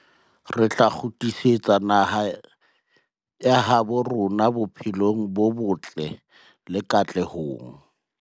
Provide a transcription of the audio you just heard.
Re tla kgutlisetsa naha ya habo rona bophelong bo botle le katlehong.